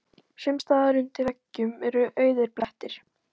Sums staðar undir veggjum eru auðir blettir.